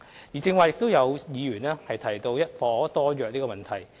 有議員剛才提到一約多伙的問題。